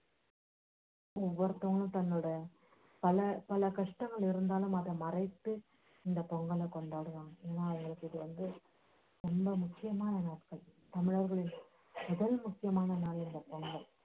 ஒவ்வொருத்தவங்களும் தங்களோட பல பல கஷ்டங்கள் இருந்தாலும் அதை மறைத்து இந்தப் பொங்கலை கொண்டாடுவாங்க ஏன்னா அது இவங்களுக்கு வந்து ரொம்ப முக்கியமான நாட்கள் அதாவது